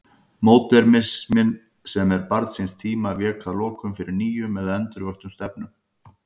Módernisminn, sem var barn síns tíma, vék að lokum fyrir nýjum eða endurvöktum stefnum.